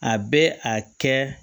A bɛ a kɛ